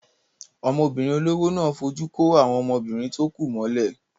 Ọmọbìnrin olówó náà fojú kó àwọn ọmọbìnrin tó kù mọ́lẹ̀.